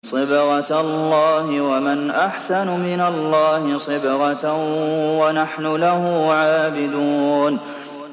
صِبْغَةَ اللَّهِ ۖ وَمَنْ أَحْسَنُ مِنَ اللَّهِ صِبْغَةً ۖ وَنَحْنُ لَهُ عَابِدُونَ